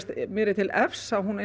mér er til efs að hún